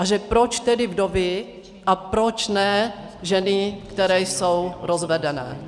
A že proč tedy vdovy a proč ne ženy, které jsou rozvedené.